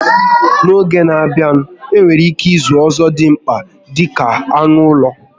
N'oge n'a bịa, enwere ike ịzụ ọzọdimgba dịka anụ ụlọ